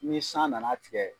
Ni san na na tigɛ.